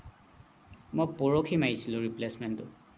মই পৰহি মাৰিছিলো replacement টো